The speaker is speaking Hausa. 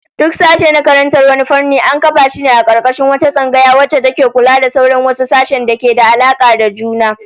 Duk sashe na karantar wani fanni, an kafa shi a karkashin wata tsangaya wacce take kula da sauran wasu sashe-sashen da ke da alaka da juna